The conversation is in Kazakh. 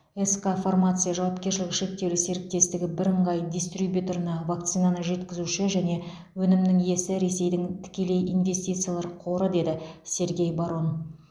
сқ фармация жауапкершілігі шектеулі серіктестігі бірыңғай дистрибьюторына вакцинаны жеткізуші және өнімнің иесі ресейдің тікелей инвестициялар қоры деді сергей барон